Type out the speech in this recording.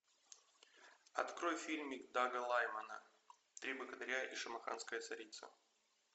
открой фильм дага лаймана три богатыря и шамаханская царица